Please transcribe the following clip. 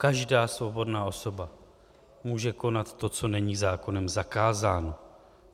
Každá svobodná osoba může konat to, co není zákonem zakázáno.